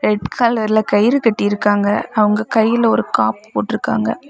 Red கலர்ல கயிறு கட்டிருக்காங்க அவங்க கையில ஒரு காப்பு போட்டுருக்காங்க.